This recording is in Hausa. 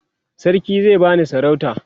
sarki zai bani sarauta